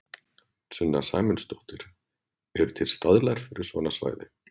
Sunna Sæmundsdóttir: Eru til staðlar fyrir svona svæði?